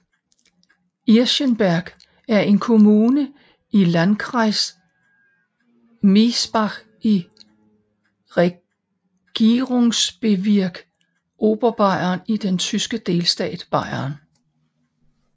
Irschenberg er en kommune i Landkreis Miesbach i Regierungsbezirk Oberbayern i den tyske delstat Bayern